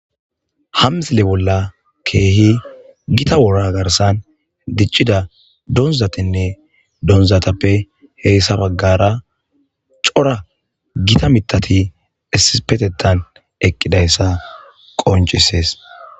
Ha misile bolla kehi gitta wora garsan dic'ida donzatinne donzatuppe hesa bagara issuppe dic'ida c'ora gotta mithati issippetethan eqidaysa qonc'ises.